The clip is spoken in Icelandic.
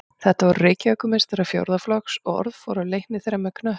Þetta voru Reykjavíkurmeistarar fjórða flokks og orð fór af leikni þeirra með knöttinn.